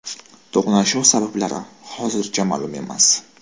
To‘qnashuv sabablari hozircha ma’lum emas.